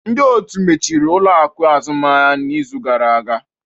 Ndị otu mechiri ụlọ akụ azụmaahịa n'izu gara aga